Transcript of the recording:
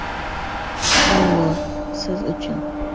“Allo” – siz uchun!